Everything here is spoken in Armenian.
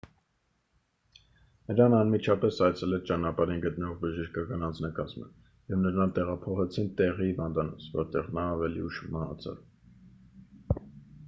նրան անմիջապես այցելեց ճանապարհին գտնվող բժշկական անձնակազմը և նրան տեղափոխեցին տեղի հիվանդանոց որտեղ նա ավելի ուշ մահացավ